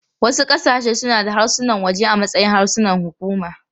Wasu ƙasashe suna da harsunan waje a matsayin harsunan hukuma.